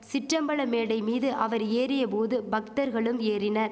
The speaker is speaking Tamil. சிற்றம்பல மேடை மீது அவர் ஏறிய போது பக்தர்களும் ஏறினர்